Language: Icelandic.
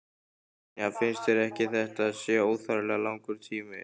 Brynja: Finnst þér ekki að þetta sé óþarflega langur tími?